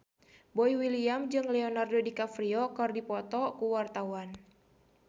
Boy William jeung Leonardo DiCaprio keur dipoto ku wartawan